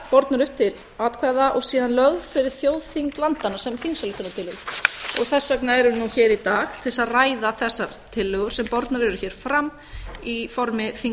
bornar upp til atkvæða og síðan lögð fyrir þjóðþing landanna sem á og þess vegna erum við nú hér í dag til þess að ræða þessar tillögur sem bornar eru hér fram í formi